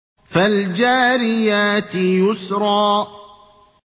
فَالْجَارِيَاتِ يُسْرًا